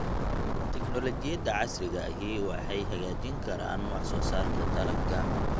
Tignoolajiyada casriga ahi waxay hagaajin karaan wax soo saarka dalagga.